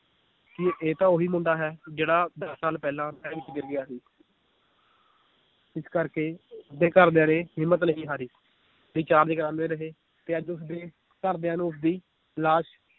ਕਿ ਇਹ ਤਾਂ ਓਹੀ ਮੁੰਡਾ ਹੈ ਜਿਹੜਾ ਦਸ ਸਾਲ ਪਹਿਲਾਂ ਨਹਿਰ ਵਿੱਚ ਗਿਰ ਗਿਆ ਸੀ ਇਸ ਕਰਕੇ ਉਸਦੇ ਘਰਦਿਆਂ ਨੇ ਹਿੰਮਤ ਨਹੀਂ ਹਾਰੀ recharge ਕਰਾਂਦੇ ਰਹੇ ਤੇ ਅੱਜ ਉਸਦੇ ਘਰਦਿਆਂ ਨੂੰ ਉਸਦੀ ਲਾਸ਼